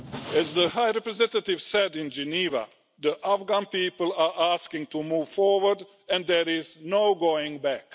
As the High Representative said in Geneva, the Afghan people are asking to move forward and there is no going back.